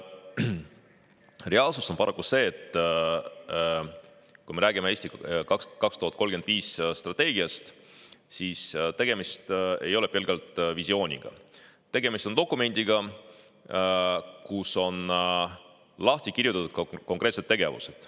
Reaalsus on paraku see, et kui me räägime "Eesti 2035" strateegiast, siis tegemist ei ole pelgalt visiooniga, tegemist on dokumendiga, kus on lahti kirjutatud konkreetsed tegevused.